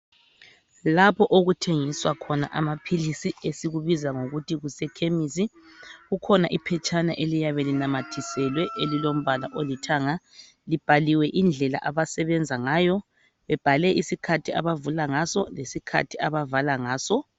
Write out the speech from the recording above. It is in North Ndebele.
Lapho okuthengiswa khona amaphilisi esikubiza ngokuthi kuseKhemisi kukhona iphetshana eliyabe linamathiselwe elilombala olithanga libhaliwe indlela abasebenza ngayo bebhale isikhathi abavula ngaso lesikhati labavala ngaso.